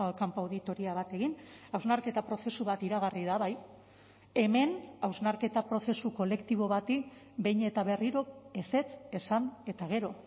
kanpo auditoria bat egin hausnarketa prozesu bat iragarri da bai hemen hausnarketa prozesu kolektibo bati behin eta berriro ezetz esan eta gero